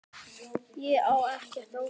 Ég á ekkert ópal